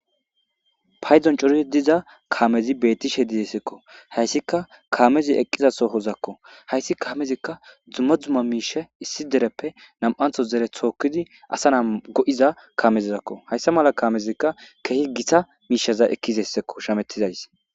payzon corii diza kaamezi bettishe didessekko hayssika kaamezi eqqiza sohozakko hayssi kaamezikka dzumma dzumma miishe issi dereppe nam7antho zere thookkidi asa na go7iza kaamezizakko hayssa mala kaamezikka kehi gita miishaza ekkizessekko shamettizais